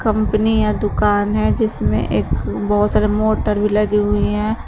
Company या दुकान है जिसमे एक बहुत सारे मोटर भी लगी हुई हैं।